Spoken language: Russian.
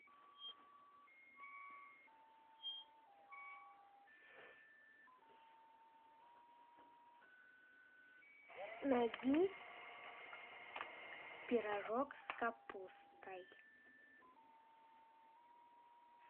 найди пирожок с капустой